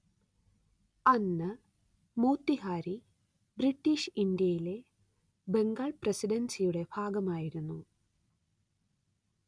അന്ന് മോത്തിഹാരി ബ്രിട്ടീഷ് ഇന്ത്യയിലെ ബംഗാൾ പ്രസിഡൻസിയുടെ ഭാഗമായിരുന്നു